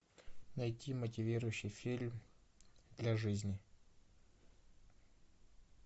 найти мотивирующий фильм для жизни